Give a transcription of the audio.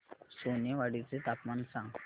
सोनेवाडी चे तापमान सांग